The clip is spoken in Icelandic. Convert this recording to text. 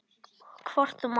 Hvort þú mátt.